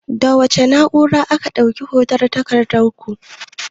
Da wace na'urar aka ɗauki hoton takardun?